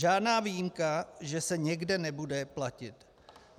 Žádná výjimka, že se někde nebude platit.